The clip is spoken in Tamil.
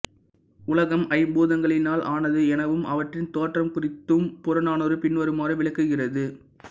உலகம் ஐம்பூதங்களினால் ஆனது எனவும் அவற்றின் தோற்றம் குறித்தும் புறநானூறு பின்வருமாறு விளக்குகிறது